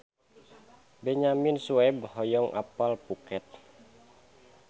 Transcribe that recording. Benyamin Sueb hoyong apal Phuket